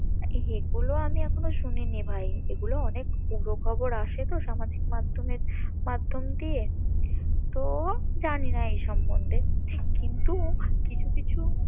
এইগুলো আমি এখনো শুনিনি ভাই এগুলো অনেক উড়ো খবর আসে তো সামাজিক মাধ্যমে মাধ্যম দিয়ে তো জানি না এই সম্বন্ধে ঠিক কিন্তু